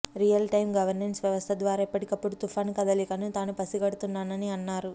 real time governance వ్యవస్థ ద్వారా ఎప్పటికప్పుడు తుఫాన్ కదలికలను తాను పసిగడుతున్నానని అన్నారు